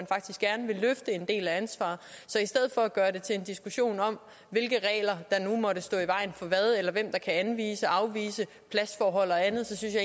faktisk gerne vil løfte en del af ansvaret så i stedet for at gøre det til en diskussion om hvilke regler der nu måtte stå i vejen for hvad eller kan anvise afvise pladsforhold og andet så synes